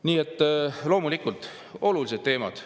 Nii et loomulikult, need on olulised teemad.